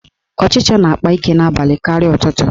Ọchicha na-akpa ike n'abalị karịa ụtụtụ.